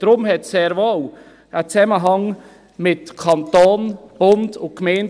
Deshalb hat es sehr wohl einen Zusammenhang mit dem Kanton und den Gemeinden.